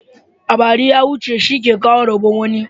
A bari ya huce shi ke kawo rabon wani.